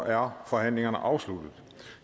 er forhandlingerne afsluttet